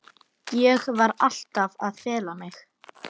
Ég var alltaf að fela mig.